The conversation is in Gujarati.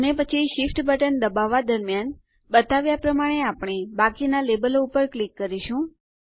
અને પછી Shift બટન દબાવવાં દરમ્યાન બતાવ્યાં પ્રમાણે આપણે બાકીના લેબલો ઉપર ક્લિક કરીશું